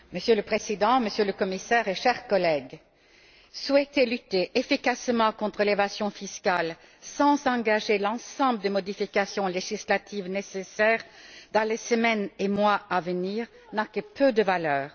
Monsieur le Président, Monsieur le Commissaire, chers collègues, souhaiter lutter efficacement contre l'évasion fiscale sans engager l'ensemble des modifications législatives nécessaires dans les semaines et les mois à venir n'a que peu de valeur.